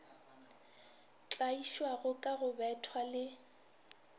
tlaišwago ka go bethwa le